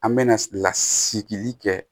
An bɛ na sigili kɛ